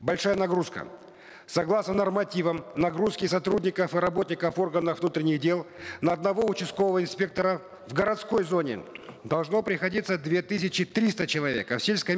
большая нагрузка согласно нормативам нагрузки сотрудников и работников органов внутренних дел на одного участкового инспектора в городской зоне должно приходиться две тысячи триста человек а в сельской